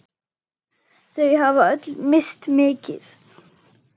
Þau hafa öll misst mikið.